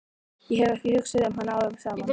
Ég hef ekki hugsað um hana árum saman.